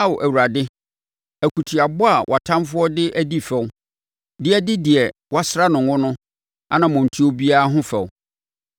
Ao Awurade, akutiabɔ a wʼatamfoɔ de adi fɛw, de adi deɛ woasra no ngo no anammɔntuo biara ho fɛw.